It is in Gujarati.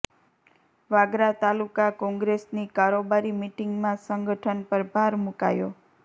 વાગરા તાલુકા કોંગ્રેસની કારોબારી મિટિંગમાં સંગઠન પર ભાર મુકાયો